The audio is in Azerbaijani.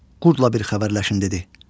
Qurdla bir xəbərləşim dedi.